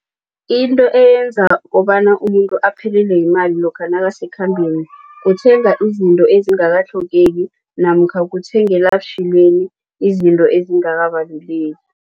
Into eyenza kobana umuntu aphelelwe yimali lokha nakhambeni kuthenga izinto ezingakatlhogeki namkha kuthengela butjhilweni izinto ezingakabaluleki.